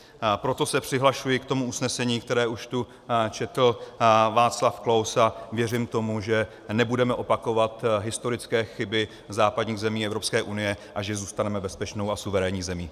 Proto se přihlašuji k tomu usnesení, které tu už četl Václav Klaus, a věřím tomu, že nebudeme opakovat historické chyby západních zemí Evropské unie a že zůstaneme bezpečnou a suverénní zemí.